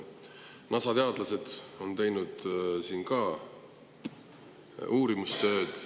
NASA teadlased on ka teinud uurimistööd.